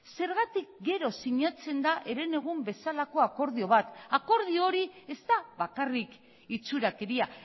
zergatik gero sinatzen da herenegun bezalako akordio bat akordio hori ez da bakarrik itxurakeria